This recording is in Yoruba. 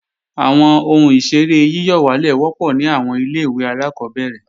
Àwọn ohun ìṣeré yíyọ̀wálè wọ́pọ̀ ní àwọn ilé-ìwé alákọ́bẹ̀rẹ̀